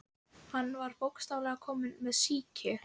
Hann var bókstaflega kominn með sýki.